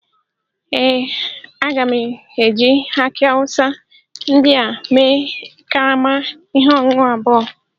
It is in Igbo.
Ee, a ga m eji aki awusa ndị a mee karama ihe ọṅụṅụ abụọ